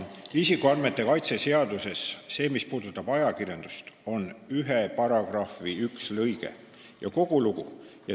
Isikuandmete kaitse seaduses puudutab ajakirjandust ühe paragrahvi üks lõige ja kogu lugu.